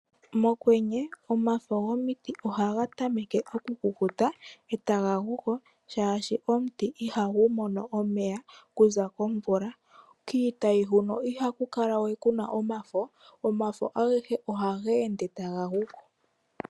Mokwenye, omafo gomiti ohaga tameke okukuta, e taga guko, oshoka omuti ihagu mono omeya, okuza komvula. Kiitayi ihaku kala we kuna omafo, omafo agehe ohaga ende taga guko.